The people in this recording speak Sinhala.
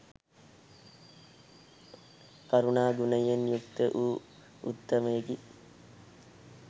කරුණා ගුණයෙන් යුක්ත වූ උත්තමයෙකි.